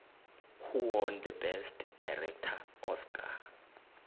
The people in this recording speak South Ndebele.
who won the best director oscar